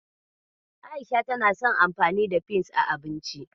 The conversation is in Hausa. A'isha tana son anfani da peas a abinci.